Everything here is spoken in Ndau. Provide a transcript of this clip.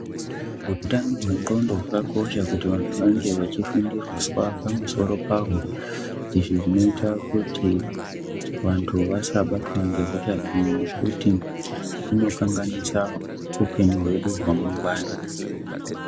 Utano hwendxondo hwakakosha kuti vanhu vange vechifundiswa pamusoro pahwo, izvi zvinoita kuti vanhu vasabatwa ngehosha iyi ngekuti inokanganisa upenyu hwedu hwamangwani.